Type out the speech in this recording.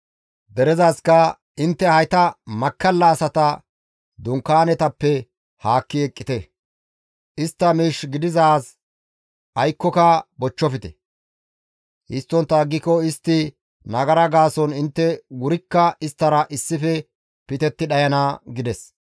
Derezaska, «Intte hayta makkalla asata dunkaanetappe haakki eqqite; istta miish gididaaz aykkoka bochchofte; histtontta aggiko istta nagara gaason intte wurikka isttara issife pitetti dhayana» gides.